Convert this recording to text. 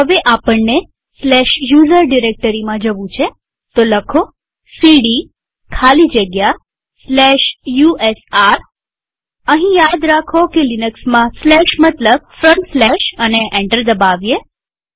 હવે આપણને usr ડિરેક્ટરીમાં જવું છેcd ખાલી જગ્યા usr લખીએઅહીં યાદ રાખો કે લિનક્સમાં સ્લેશ મતલબ ફ્રન્ટસ્લેશ અને એન્ટર દબાવીએ